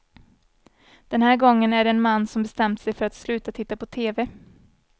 Den här gången är det en man som bestämt sig för att sluta titta på tv.